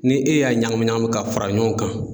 Ni e y'a ɲagami ɲagami ka fara ɲɔgɔn kan